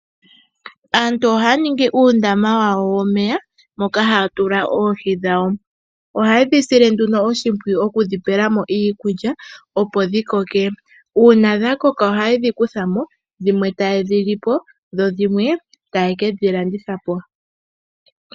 Aantu ohaya ningi uundama wawo womeya , moka haatula oohi dhawo. ohaye dhi sile nduno oshipwiyu okudhipelamo iikulya , opo dhi koke. Uuna dha koko ohaye dhi kuthamo , dhimwe taye dhi lipo, dho dhimwe taye ke dhi landithapo.